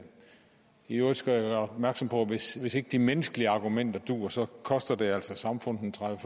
i øvrigt skal jeg gøre opmærksom på hvis ikke de menneskelige argumenter duer at så koster det altså samfundet en tredive